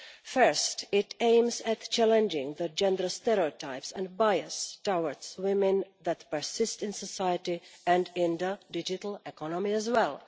First, it aims at challenging the gender stereotypes and bias towards women that persist in society and in the digital economy as well.